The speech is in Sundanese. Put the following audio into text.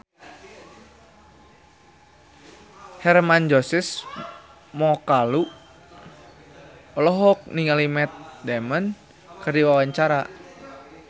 Hermann Josis Mokalu olohok ningali Matt Damon keur diwawancara